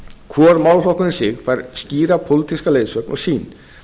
hvor málaflokkur um sig fær skýra pólitíska leiðsögn og sýn